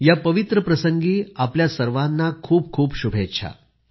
या पवित्र प्रसंगी आपल्या सर्वांना खूप खूप शुभेच्छा